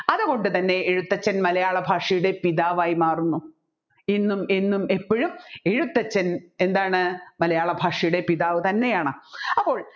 അതുകൊണ്ട് തന്നെ എഴുത്തച്ഛൻ മലയാളഭാഷയുടെ പിതാവായി മാറുന്നു ഇന്നും എന്നും എപ്പോഴും എഴുത്തച്ഛൻ എന്താണ് മലയാളഭാഷയുടെ പിതാവ് തന്നെയാണ് അപ്പോൾ